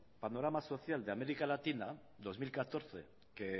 panorama social de américa latina dos mil catorce que